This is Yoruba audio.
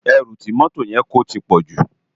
Èrú ti mòtó yèn kó tipòjú